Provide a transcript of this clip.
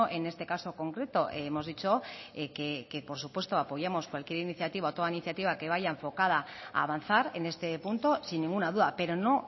en este caso concreto hemos dicho que por supuesto apoyamos cualquier iniciativa o toda iniciativa que vaya enfocada a avanzar en este punto sin ninguna duda pero no